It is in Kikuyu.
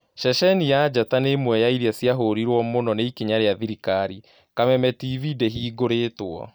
Ceceni ya Njata nĩ ĩmwe yairia cĩahuriruo mũno nĩ ikinya rĩa thirikari, Kameme Tv ndihingũretwo